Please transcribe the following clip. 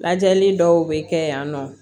Lajɛli dɔw bɛ kɛ yan nɔ